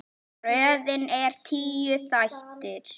Röðin er tíu þættir.